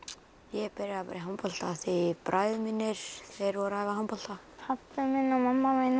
ég byrjaði í handbolta því bræður mínir voru að æfa handbolta pabbi minn og mamma mín